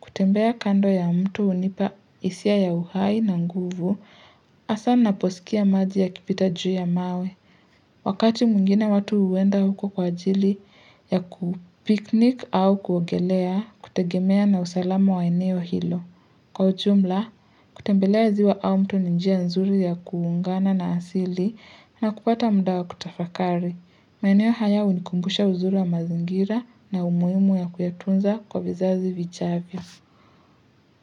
Kutembea kando ya mto hunipa hisia ya uhai na nguvu, hasaa ninaposikia maji yakipita juu ya mawe. Wakati mwingine watu henda huko kwa ajili ya kupiknik au kuogelea kutegemea na usalama wa eneo hilo. Kwa ujumla, kutembelea ziwa au mto ni njia nzuri ya kuungana na asili na kupata muda wa kutafakari. Maeneo haya hunikumbusha uzuri wa mazingira na umuhimu ya kuyatunza kwa vizazi vijavyo.